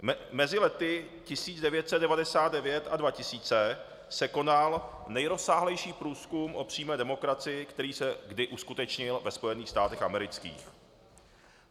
Mezi lety 1999 a 2000 se konal nejrozsáhlejší průzkum o přímé demokracii, který se kdy uskutečnil ve Spojených státech amerických.